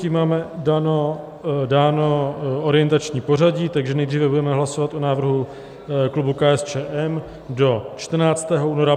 Tím máme dáno orientační pořadí, takže nejdříve budeme hlasovat o návrhu klubu KSČM do 14. února.